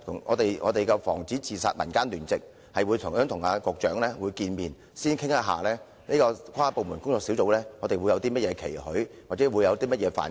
我們的防止自殺民間聯席已去信邀請局長見面，以表達我們對這個跨部門工作小組有些甚麼期許，或希望其關注的範疇。